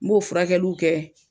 N b'o furakɛliw kɛ